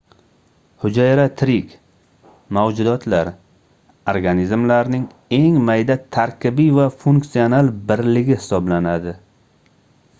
hujayra tirik mavjudotlar organizmlarning eng mayda tarkibiy va funksional birligi hisoblanadi